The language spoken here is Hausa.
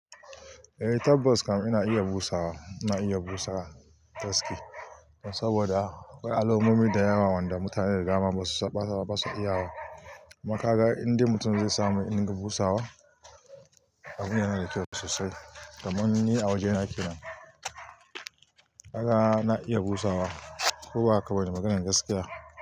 Eh, tabbas kam ina iya busawa. Ina iya busa gaskiya, saboda akwai alamomi da yawa wanda mutane da dama basu iya wa. Kumakaga indai mutum zai samu dinga busawa abun yana da kyau sosai. Kamun ni a wajena kenan, kaga na iya busawa ko baka bane maganar gaskiya.